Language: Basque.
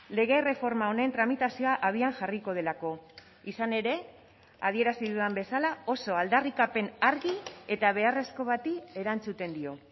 lege erreforma honen tramitazioa abian jarriko delako izan ere adierazi dudan bezala oso aldarrikapen argi eta beharrezko bati erantzuten dio